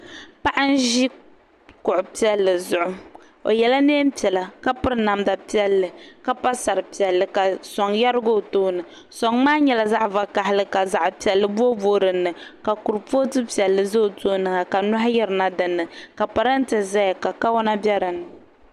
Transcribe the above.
Paɣa n-ʒi kuɣu piɛlli zuɣu o yela neem'piɛla ka piri namda piɛlli ka pa sari piɛlli ka sɔŋ yarigi o tooni sɔŋ maa nyɛla zaɣ'vakahili ka zaɣ'piɛlli booiboii dini ka kuripootu piɛlli za o tooni ha ka nyɔhi yirina dini ka parante zaya ka kawana be dini.